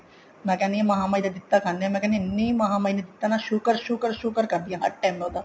ਮੈਂ ਕਹਿਣੀ ਹਾਂ ਮਹਾ ਮਾਈ ਦਾ ਦਿੱਤਾ ਖਾਣੀ ਹਾਂ ਮਾਈ ਕਿਹਾ ਮਹਾ ਮਾਈ ਨੇ ਇੰਨਾ ਦਿੱਤਾ ਸ਼ੁਕਰ ਸ਼ੁਕਰ ਸ਼ੁਕਰ ਕਰਦੀ ਹਾਂ ਹਰ time ਉਹਦਾ